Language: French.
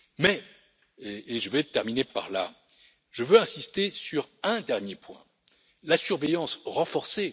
Mais et je terminerai par là je veux insister sur un dernier point, à savoir la surveillance renforcée.